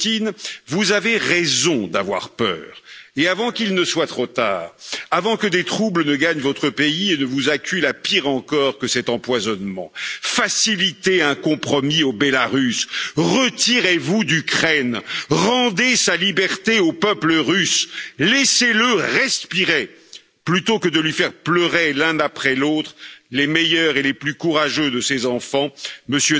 Poutine, vous avez raison d'avoir peur et, avant qu'il ne soit trop tard, avant que des troubles ne gagnent votre pays et ne vous acculent à pire encore que cet empoisonnement, facilitez un compromis en Biélorussie, retirez vous d'Ukraine, rendez sa liberté au peuple russe, laissez le respirer plutôt que de lui faire pleurer l'un après l'autre les meilleurs et les plus courageux de ses enfants, M.